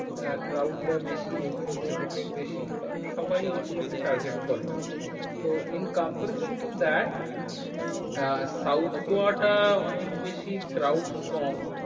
আহ crowd টা বেশি এইগুলোতে হোটেলটা বেশি। কারণ সবাই ওইগুলোকে target করে। তো in comparison to that uh south গোয়াটা অনেক বেশি crowd কম। হম